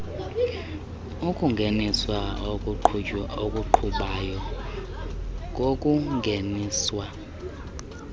ukungeniswa okuqhubayo kokungeniswa